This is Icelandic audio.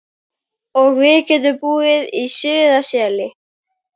Og við getum búið í Stuðlaseli.